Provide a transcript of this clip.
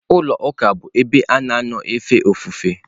Ụlọ ụka bụ ebe a na-anọ efe ofufe.